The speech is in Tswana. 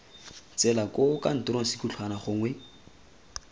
tsela koo kantoro sekhutlhwana gongwe